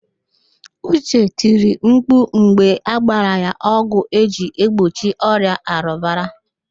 Uche tiri mkpu mgbe agbara ya ọgwụ eji egbochi ọrịa arụbara